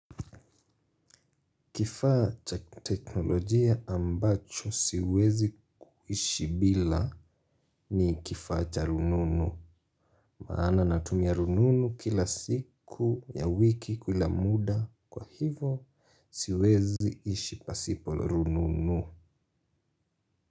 Kifaa cha teknolojia ambacho siwezi kuishi bila ni kifaa cha rununu. Maana natumia rununu kila siku ya wiki kila muda kwa hivo siwezi ishi pasipo rununu.